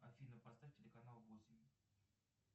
афина поставь телеканал восемь